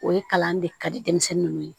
O ye kalan de ka di denmisɛnnin ninnu ye